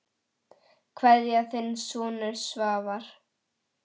Kveðja, þinn sonur Svavar.